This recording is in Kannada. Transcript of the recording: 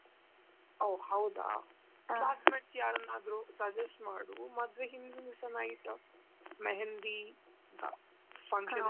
ಓ ಹೌದಾ classmates ಯಾರನ್ನಾದ್ರೂ suggest ಮಾಡು ಮದುವೆ ಹಿಂದಿನ್ ದಿಸಾ night mehendi function .